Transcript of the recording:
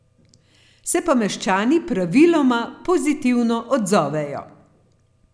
Se pa meščani praviloma pozitivno odzovejo.